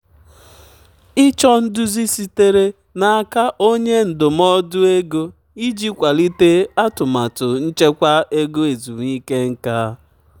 "ịchọ nduzi sitere n'aka onye ndụmọdụ nke ego iji kwalite atụmatụ nchekwa ego ezumike nka."